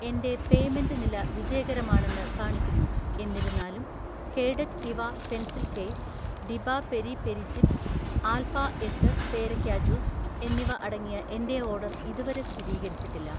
എന്‍റെ പേയ്‌മെന്റ് നില വിജയകരമാണെന്ന് കാണിക്കുന്നു, എന്നിരുന്നാലും കേഡറ്റ് ഇവാ പെൻസിൽ കേസ്, ഡിബ പെരി പെരി ചിപ്സ്, ആൽഫ എട്ട് പേരക്ക ജ്യൂസ് എന്നിവ അടങ്ങിയ എന്‍റെ ഓർഡർ ഇതുവരെ സ്ഥിരീകരിച്ചിട്ടില്ല.